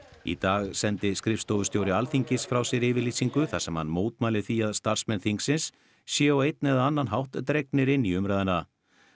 í dag sendi skrifstofustjóri Alþingis frá sér yfirlýsingu þar sem hann mótmælir því að starfsmenn þingsins séu á einn eða annan hátt dregnir inn í umræðuna